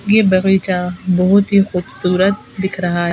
ये बगीचा बहुत ही खूबसूरत दिख रहा है।